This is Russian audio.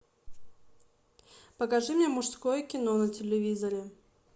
покажи мне мужское кино на телевизоре